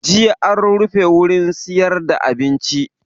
Jiya an rufe wurin siyar da abinci